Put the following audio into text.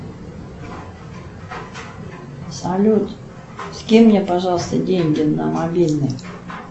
салют скинь мне пожалуйста деньги на мобильный